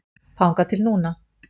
Þangað til núna.